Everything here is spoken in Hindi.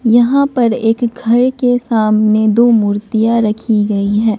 यहां पर एक घर के सामने दो मूर्तियां रखी गई हैं।